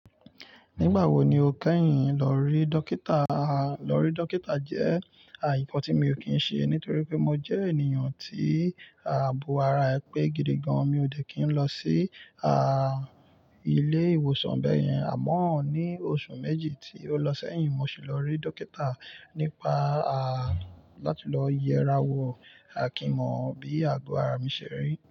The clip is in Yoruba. Nígbà wo ni o kẹ́yìn lọ rí dókítà? Lọ rí dókítà jẹ́ nkan tí mi ò kí ṣe, nítorí pé mo jẹ́ ènìyàn tí àbò ara ẹ pé gidigan. Mi ò dẹ̀ kí n lọ sí ilé ìwòsàn bẹ́yẹn. Àmọ́ ní oṣù méjì tí ó lọ́sẹ̀yìn mo sì lọ rí dókítà nípa láti lọ yẹ ara wo, kí mọ̀ bí àgọ ara mi ṣẹ́ rí.